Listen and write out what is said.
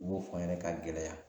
U b'o fɔ n ɲɛnɛ ka gɛlɛya